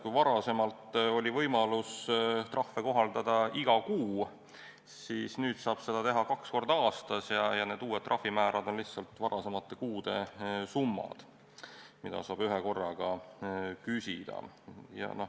Kui varem oli võimalus trahve kohaldada iga kuu, siis nüüd saab seda teha kaks korda aastas, ja need uued trahvimäärad on varasemate kuude summad, mida saab ühekorraga küsida.